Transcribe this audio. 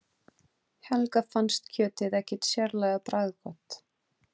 Helga fannst kjötið ekki sérlega bragðgott.